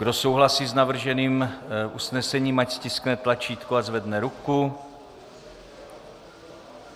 Kdo souhlasí s navrženým usnesením, ať stiskne tlačítko a zvedne ruku.